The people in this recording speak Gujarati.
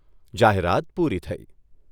જાહેરાત પૂરી થઈ.